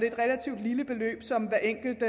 et relativt lille beløb som hver enkelt